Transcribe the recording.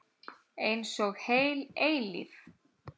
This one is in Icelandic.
Einsog heil eilífð.